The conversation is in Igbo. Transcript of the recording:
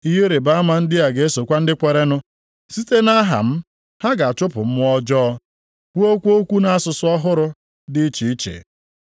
\+wj Ihe ịrịbama ndị a ga-esokwa ndị kwerenụ. Site nʼaha m, ha ga-achụpụ mmụọ ọjọọ; kwuokwa okwu nʼasụsụ ọhụrụ dị iche iche.\+wj*